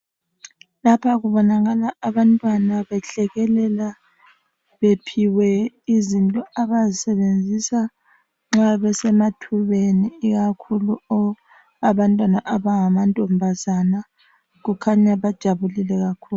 Lapha kubonakala abantwana behlekelela bephiwe izinto abazisebenzisa nxa bese mathubeni ikakhulu abantwana abangama ntombazane, kukhanya bajabulile kakhulu.